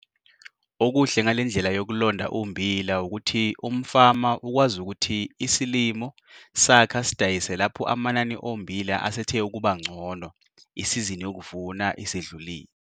Okuhle ngale ndlela yokulonda ummbila ukuthi umfama ukwazi ukuthi isilimo sakhe asidayise lapho amanani ommbila esethe ukuba ngcono, isizini yokuvuna isidlulile.